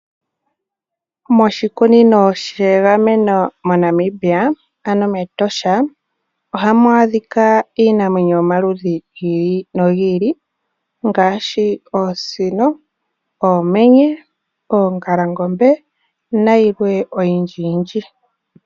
Moshikunino shegameno moNamibia ano mEtosha ohamu a dhika iinamwenyo yomaludhi giili nogiili ngaashi oosino, oomenye, oongalangombe nayilwe oyindji yindji.